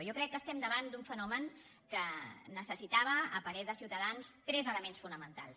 jo crec que estem davant d’un fenomen que necessitava a parer de ciutadans tres elements fonamentals